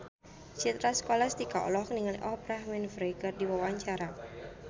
Citra Scholastika olohok ningali Oprah Winfrey keur diwawancara